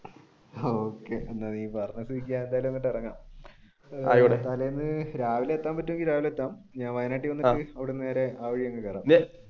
ആഹ് okay നീ പറഞ്ഞ സ്ഥിതിക്ക് എന്തായാലും ഞാൻ അങ്ങ് ഇറങ്ങാം തലേന്ന് രാവിലെ എത്താൻ പറ്റുമെങ്കിൽ രാവിലെ എത്താം.